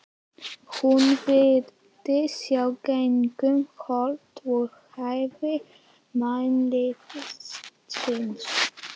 Hún virtist sjá gegnum holt og hæðir mannlífsins.